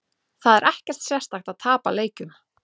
Það er ekkert sérstakt að tapa leikjum.